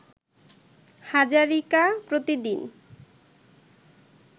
হাজারিকা প্রতিদিন